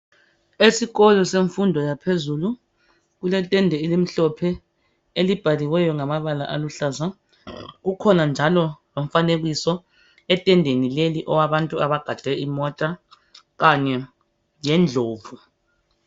Esikolo semfundo yaphezulu kuletende elimhlophe elibhaliweyo Ngamabala aluhlaza kukhona njalo lomfanekiso etendeni leli owabantu abagade imota Kanye lendlovu